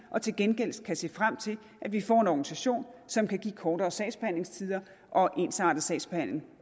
og til gengæld kan se frem til at vi får en organisation som kan give kortere sagsbehandlingstider og ensartet sagsbehandling